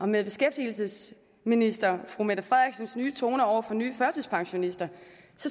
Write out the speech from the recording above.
med beskæftigelsesministerens nye toner over for nye førtidspensionister